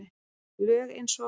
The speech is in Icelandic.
Lög eins og